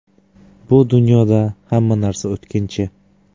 Bu dunyoda hamma narsa o‘tkinchi.